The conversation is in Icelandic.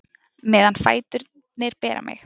Meðan fæturnir bera mig